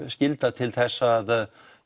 skylda til þess að